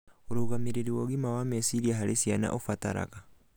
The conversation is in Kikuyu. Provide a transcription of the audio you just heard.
Ũrũgamĩrĩri wa ũgima wa meciria harĩ ciana ũbataraga